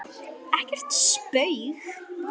Ekkert spaug